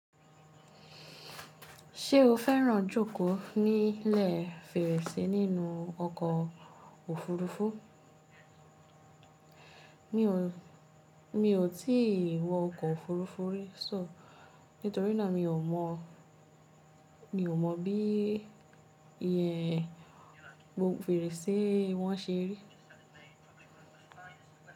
Ṣé o fẹ́ràn jókòó nílẹ̀ Fèrèsé nínú ọkọ̀ òfurufú? Mi ò tí wọ ọkọ̀ òfurufú rí, nítorí náà mi ò mọ̀ bí fèrèsé wọn ṣe rí.